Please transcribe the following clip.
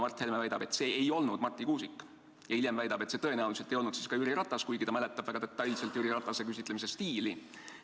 Mart Helme väidab, et see ei olnud Marti Kuusik, ja hiljem väidab, et see tõenäoliselt ei olnud siis ka Jüri Ratas, kuigi ta mäletab väga detailselt Jüri Ratase küsitlemise stiili.